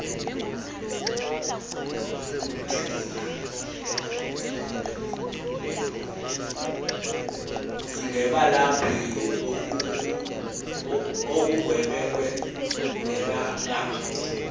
ngebelaph ongubengwe ngebeaph